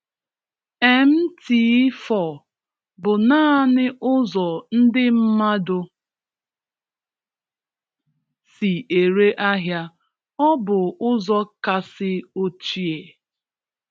MT4 bụ naanị ụzọ ndị mmadụ si ere ahịa, ọ bụ ụzọ kasị ochie.